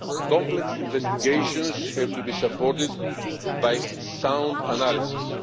Complex investigations have to be supported by sound analysis.